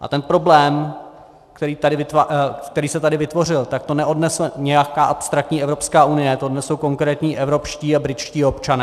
A ten problém, který se tady vytvořil, tak to neodnese nějaká abstraktní Evropská unie, to odnesou konkrétní evropští a britští občané.